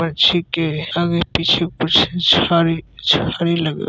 पंछी के आगे पीछे कुछ झाड़ी झाड़ी लग--